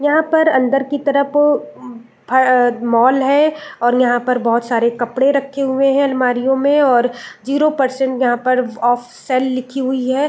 यहाँ पर अंदर की तरफ उ फ मॉल है और यहाँ पर बहोत सारे कपड़े रखे हुए है अलमारिओ में और जीरो परसेंट यहाँ पर ऑफ सेल लिखी हुई है।